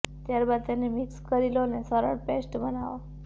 ત્યારબાદ તેને મિક્સ કરી લો અને સરળ પેસ્ટ બનાવો